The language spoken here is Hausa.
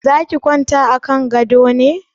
Za ki kwanta a kan gadon ne?